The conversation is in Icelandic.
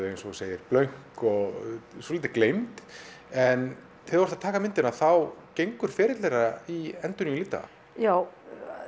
eins og þú segir blönk og svolítið gleymd en þegar þú ert að taka myndina þá gengur ferill þeirra í endurnýjun lífdaga já